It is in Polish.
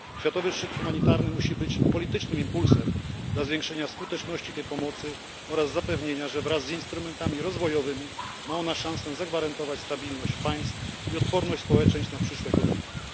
Światowy Szczyt Humanitarny musi być politycznym impulsem dla zwiększenia skuteczności tej pomocy oraz zapewnienia, że wraz z instrumentami rozwojowymi ma ona szansę zagwarantować stabilność państw i odporność społeczeństw na przyszłe konflikty.